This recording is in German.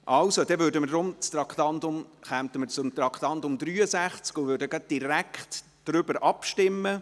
Also, dann kommen wir hiermit zu Traktandum 63 und stimmen direkt darüber ab.